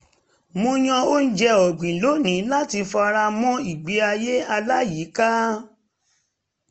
mo yàn oúnjẹ ọ̀gbìn lónìí láti fara mọ́ ìgbé ayé aláyíká